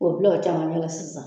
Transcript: K'o bila o camancɛ la sisan